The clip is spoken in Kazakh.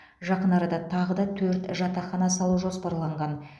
жақын арада тағы да төрт жатақхана салу жоспарланған